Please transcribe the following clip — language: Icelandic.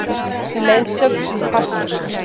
Leiðsögn um farsíma